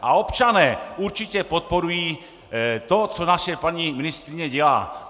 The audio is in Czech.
A občané určitě podporují to, co naše paní ministryně dělá.